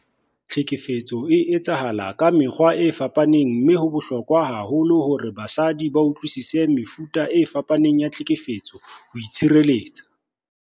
Tlhekefetso e etsahala ka mekgwa e fapaneng mme ho bohlokwa haholo hore basadi ba utlwisise mefuta e fapaneng ya tlhekefetso ho itshireletsa.